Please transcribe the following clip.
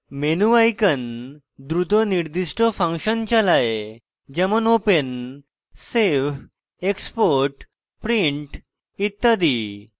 menu icons দ্রুত নির্দিষ্ট function চালায়; যেমন: open save export print ইত্যাদি